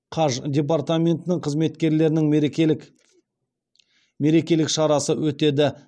қаж департаментінің қызметкерлерінің мерекелік шарасы өтеді